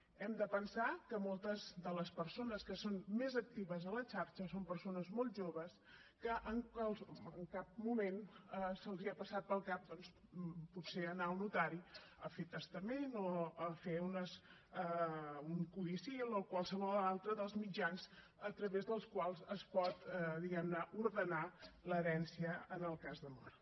hem de pensar que moltes de les persones que són més actives a la xarxa són persones molt joves que en cap moment els ha passat pel cap doncs potser anar a un notari a fer testament o a fer un codicil o qualsevol altre dels mitjans a través dels quals es pot diguem ne ordenar l’herència en el cas de mort